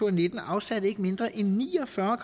og nitten afsatte ikke mindre end ni og fyrre